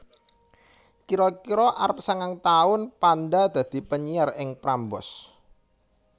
Kira kira arep sangang taun Panda dadi penyiar ing Prambors